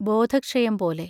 ബോധ ക്ഷയം പോലെ.